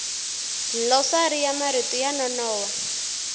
dlilosari ya marito yo nonoha